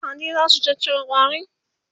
Kaji zasu caccaka ƙwarin?